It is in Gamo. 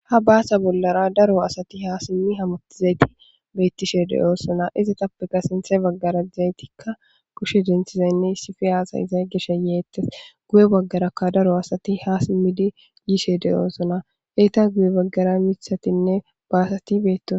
ha baasa bollara daro asati ha simmi hamottizayti beettishe deyosona izatappeka sinthe baggara izaytikka kushe denthizaynne isife aasa iza geshe yeettes guye baggarakka daro asati ha simmidi yishe de7osona eyta guye baggara mithatinne baasati beettos